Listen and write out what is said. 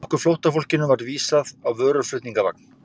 Okkur flóttafólkinu var vísað á vöruflutningavagn.